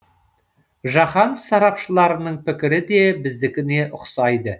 жаһан сарапшыларының пікірі де біздікіне ұқсайды